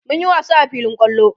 mun Yi wasa a filin kwallo